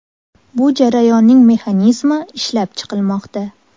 Bu jarayonning mexanizmi ishlab chiqilmoqda.